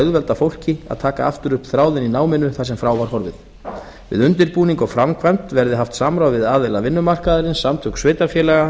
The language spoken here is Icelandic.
auðvelda fólki að taka aftur upp þráðinn í náminu þar sem frá var horfið við undirbúning og framkvæmd verði haft samráð við aðila vinnumarkaðarins samtök sveitarfélaga